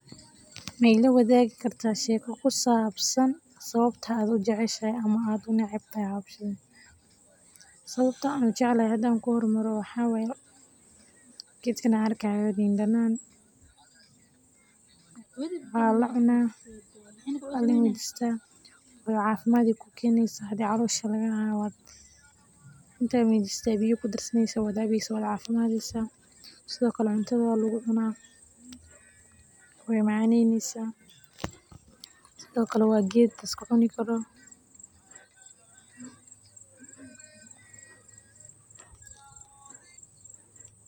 Sawabta an jeclahay hda kuhormaro waxa waye gedkan wa liin danan walacuna oo cafimad ayey kukenesa hadi calosha lagahayo oo inta mirto aya biyo kudarsani ad cabeysa cafimadeysa sido kale cuntada lugucuna wey macaneneysa sido kale wa ged laiskacuni karo.